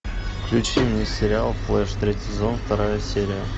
включи мне сериал флэш третий сезон вторая серия